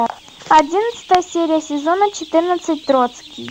одиннадцатая серия сезона четырнадцать троцкий